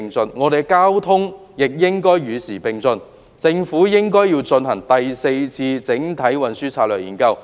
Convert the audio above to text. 本港的交通亦應與時並進，政府有必要進行第四次整體運輸研究。